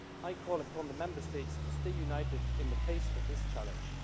I call upon the Member States to stay united in the face of this challenge.